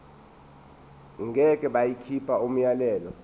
ngeke bakhipha umyalelo